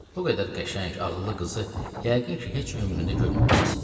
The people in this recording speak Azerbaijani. O qədər qəşəng, ağıllı qızı yəqin ki, heç ömrünüzdə görməmisiniz.